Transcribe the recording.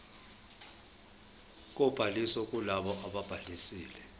kobhaliso kulabo ababhalisile